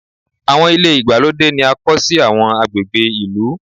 Àwọn ilé ìgbàlódé ni a kọ́ sí àwọn agbègbè ìlú.